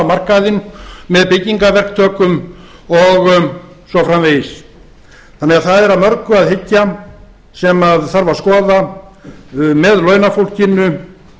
markaðinn með byggingarverktökum og svo framvegis þannig að það er að mörgu að hyggja sem þarf að skoða með launafólkinu